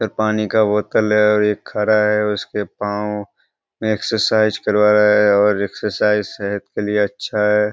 इधर पानी का बोतल है और ये खड़ा है और उसके पाव में एक्सरसाइज करवा रहा है और एक्सरसाइज सेहत के लिए अच्छा है।